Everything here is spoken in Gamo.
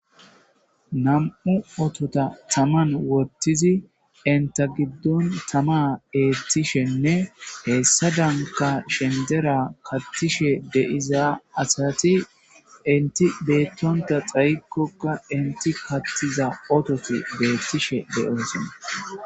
namu otota taman wottizi inta giddon tama eettishenne heessadanka shendera kattishe de'iza asati enti beettonta xaykkokka enti kattiza ototi beettishe de'osonna